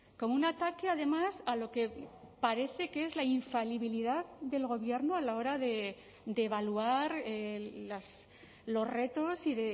como un ataque además a lo que parece que es la infalibilidad del gobierno a la hora de evaluar los retos y